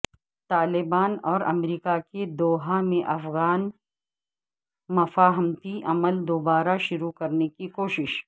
طالبان اور امریکہ کی دوحہ میں افغان مفاہمتی عمل دوبارہ شروع کرنے کی کوشش